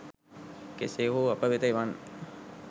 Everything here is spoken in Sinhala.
කෙසේ හෝ අප වෙත එවන්න.